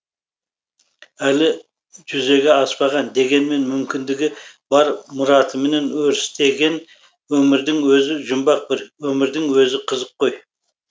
әлі жүзеге аспаған дегенмен мүмкіндігі бар мұратымен өрістеген өмірдің өзі жұмбақ бір өмірдің өзі қызық қой